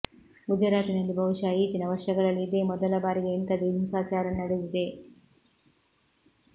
ಗುಜರಾತಿನಲ್ಲಿ ಬಹುಶಃ ಈಚಿನ ವರ್ಷಗಳಲ್ಲಿ ಇದೇ ಮೊದಲ ಬಾರಿಗೆ ಇಂಥದೇ ಹಿಂಸಾಚಾರ ನಡೆದಿದೆ